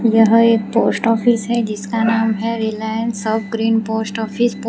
यह एक post office है जिसका नाम है रिलायंस सब ग्रीन पोस्ट ऑफिस --